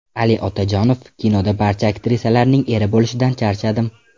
Ali Otajonov: Kinoda barcha aktrisalarning eri bo‘lishdan charchadim.